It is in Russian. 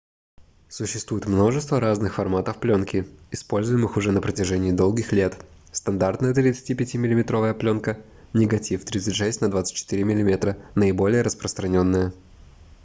существует множество разных форматов пленки используемых уже на протяжении долгих лет. стандартная 35-миллиметровая пленка негатив 36 на 24 мм — наиболее распространенная